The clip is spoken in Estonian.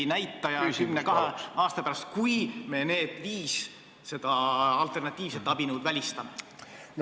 ... ja vaesusriski näitaja kümne-kahekümne aasta pärast, kui me need viis alternatiivset abinõu välistame?